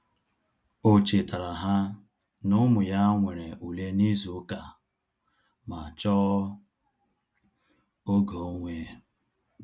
O chetara ha na-ụmụ ya nwere ule na ịzụ ụka ma chọọ oge onwe